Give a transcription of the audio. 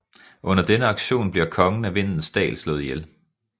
Under denne aktion bliver kongen af Vindens Dal slået ihjel